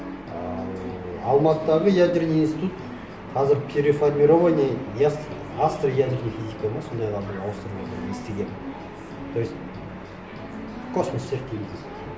ал алматыдағы ядерный институт қазір переформирование астроядерная физика ма сондайға бір ауыстырыватыр естігенім то есть космос сияқты